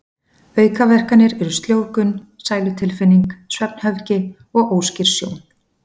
Aukaverkanir eru sljóvgun, sælutilfinning, svefnhöfgi og óskýr sjón.